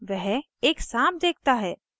वह एक साँप देखता है